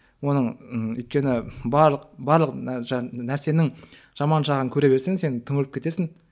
оның м өйткені барлық барлық нәрсенің жаман жағын көре берсең сен түңіліп кетесің